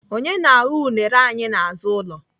Onye na-aghọ unere anyị n'azụ ụlọ?